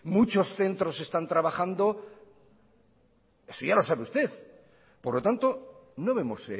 muchos centros están trabajando eso ya lo sabe usted por lo tanto no vemos